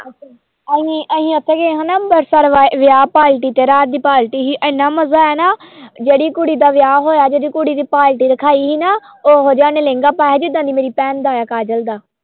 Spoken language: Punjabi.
ਅਸੀਂ ਅਸੀਂ ਉੱਥੇ ਗਏ ਹਨਾ ਅੰਬਰਸਰ ਵਾ ਵਿਆਹ ਪਾਰਟੀ ਤੇ ਰਾਤ ਦੀ ਪਾਰਟੀ ਸੀ ਇੰਨਾ ਮਜ਼ਾ ਆਇਆ ਨਾ ਜਿਹੜੀ ਕੁੜੀ ਦਾ ਵਿਆਹ ਹੋਇਆ ਜਿਹੜੀ ਕੁੜੀ ਦੀ ਪਾਰਟੀ ਰਖਾਈ ਸੀ ਨਾ ਉਹ ਜਿਹਾ ਉਹਨੇ ਲਹਿੰਗਾ ਪਾਇਆ ਸੀ ਜਿੱਦਾਂ ਦੀ ਮੇਰੀ ਭੈਣ ਦਾ ਹੈ ਕਾਜਲ ਦਾ।